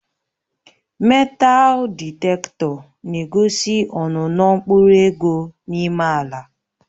Metaal dịktetọ na-egosi ọnụnọ mkpụrụ ego n'ime ala